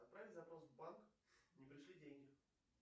отправить запрос в банк не пришли деньги